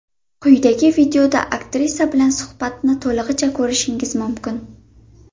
Quyidagi videoda aktrisa bilan suhbatni to‘lig‘icha ko‘rishingiz mumkin.